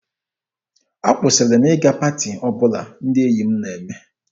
Akwụsịrị m ịga paati ọbụla ndị enyi m na-eme.